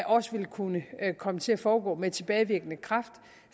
også ville kunne komme til at foregå med tilbagevirkende kraft